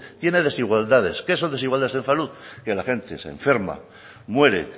tiene desigualdades qué son desigualdades en salud que la gente se enferma muere